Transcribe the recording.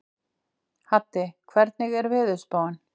Haddi, hvernig er veðurspáin?